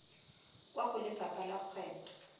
kwa go lefapha la kgwebo